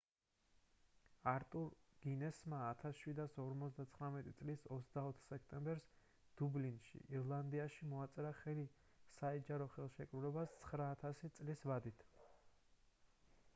არტურ გინესმა 1759 წლის 24 სექტემბერს დუბლინში ირლანდიაში მოაწერა ხელი საიჯარო ხელშეკრულებას 9,000 წლის ვადით